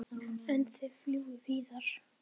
En þið fljúgið víðar?